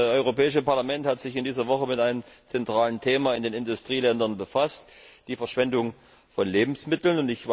Das Europäische Parlament hat sich in dieser Woche mit einem zentralen Thema in den Industrieländern befasst Der Verschwendung von Lebensmittel.